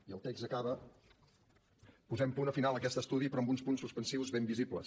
i el text acaba posem punt final a aquest estudi però amb uns punts suspensius ben visibles